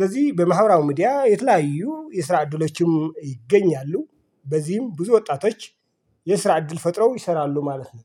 ለዚህ በማህበራዊ ሚዲያ የተለያዩ የስራ ዕድሎችም ይገኛሉ። በዚህም ብዙ ወጣቶች የስራ እድል ፈጥረው ይሰራሉ ማለት ነው።